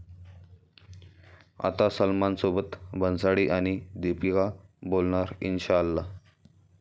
आता सलमानसोबत भन्साळी आणि दीपिका बोलणार 'इन्शाअल्लाह'